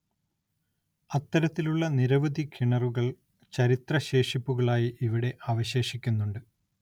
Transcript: അത്തരത്തിലുള്ള നിരവധി കിണറുകൾ ചരിത്ര ശേഷിപ്പുകളായി ഇവിടെ അവശേഷിക്കുന്നുണ്ട്.